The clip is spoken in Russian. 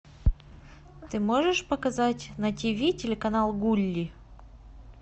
ты можешь показать на тв телеканал гулли